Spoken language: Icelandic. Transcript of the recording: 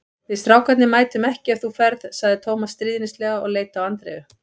Við strákarnir mætum ekki ef þú ferð sagði Tómas stríðnislega og leit á Andreu.